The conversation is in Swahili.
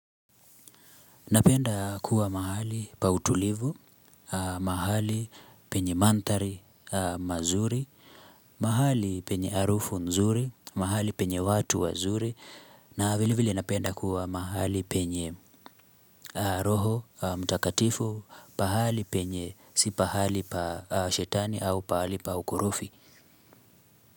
Napenda kua mahali pautulivu, mahali penye mantari mazuri, mahali penye harufu nzuri, mahali penye watu wazuri, na vile vile napenda kua mahali penye roho mtakatifu, pahali penye si pahali pa shetani au pahali pa ukorofi.